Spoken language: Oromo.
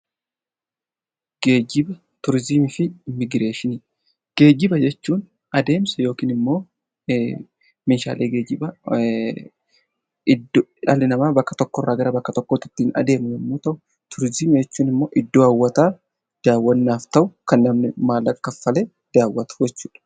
Geejjiba jechuun adeemsa yookaan immoo meeshaalee geejjibaa dhalli namaa bakka tokko irraa gara bakka biraatti ittiin adeemu yommuu ta'u, turizimii jechuun immoo iddoo hawwataa daawwannaaf ta'u kan namni maallaqa kaffalee daawwatu jechuudha.